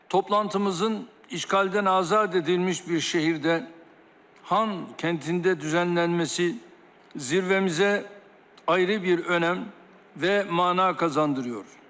Toplantımızın işğaldan azad edilmiş bir şəhərdə, Xankəntində düzənlənməsi zirvəmizə ayrı bir önəm və məna qazandırır.